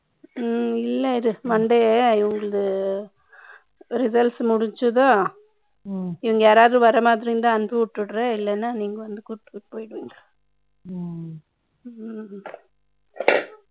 Monday, I will results முடிஞ்சுதா ம்ம். இங்க யாராவது வர மாதிரி இருந்தால், அனுப்பி விட்டுடுற. இல்லைன்னா, நீங்க வந்து கூட்டிட்டு போயி